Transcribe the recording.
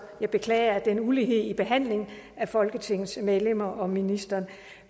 jeg beklager den ulighed i behandlingen af folketingets medlemmer og ministeren